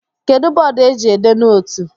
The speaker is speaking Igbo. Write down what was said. Kedụ bọọdụ eji ede nootu?